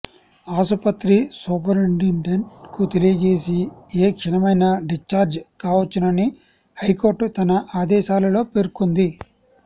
ఆసుపత్రి సూపరిండెంట్ కు తెలియజేసి ఏ క్షణమైనా డిశ్చార్జ్ కావచ్చునని హైకోర్టు తన ఆదేశాలలో పేర్కొంది